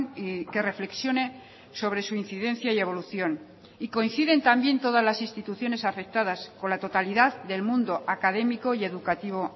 y que reflexione sobre su incidencia y evolución y coinciden también todas las instituciones afectadas con la totalidad del mundo académico y educativo